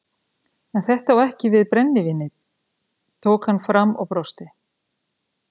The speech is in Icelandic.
En þetta á ekki við brennivínið tók hann fram og brosti.